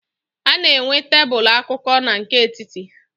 A na -enwe tebulu akụkụ na nke etiti.